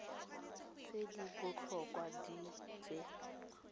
tse di botlhokwa tse di